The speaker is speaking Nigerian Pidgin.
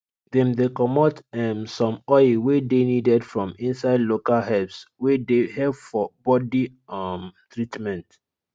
dem dey comot um some oil wey dey needed from inside local herbs wey dey help for body um treatment